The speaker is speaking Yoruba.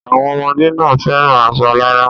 Àwọn ọmọdé náà fẹ́ran aṣọ alárà.